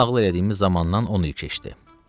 Bu nağıl elədiyimiz zamandan on il keçdi.